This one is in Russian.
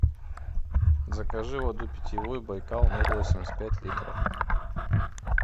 закажи воду питьевую байкал ноль восемьдесят пять литров